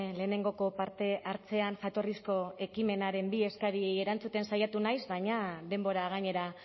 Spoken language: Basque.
lehenengoko partehartzean jatorrizko ekimenaren bi eskari erantzuten saiatu naiz baina denbora gainera